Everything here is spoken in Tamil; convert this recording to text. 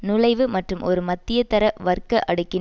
நுழைவு மற்றும் ஒரு மத்திய தர வர்க்க அடுக்கின்